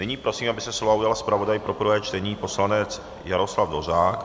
Nyní prosím, aby se slova ujal zpravodaj pro prvé čtení, poslanec Jaroslav Dvořák.